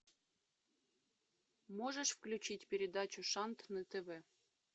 можешь включить передачу шант на тв